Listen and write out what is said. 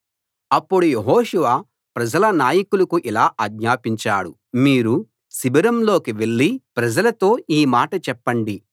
అప్పుడు యెహోషువ ప్రజల నాయకులకు ఇలా ఆజ్ఞాపించాడు మీరు శిబిరంలోకి వెళ్లి ప్రజలతో ఈ మాట చెప్పండి